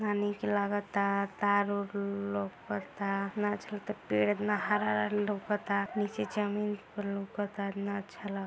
कितना नीक लगाता तार वार लौकाता एतना अच्छा लागता पेड़ एतना हरा-हरा लउकता नीचे जमीन पर लउकता कितना अच्छा लाग --